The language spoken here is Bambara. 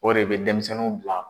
O de bɛ denmisɛnniw bila